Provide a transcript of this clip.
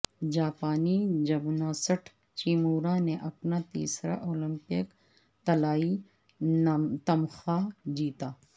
جاپانی gymnast Uchimura نے اپنا تیسرا اولمپک طلائی تمغہ جیتا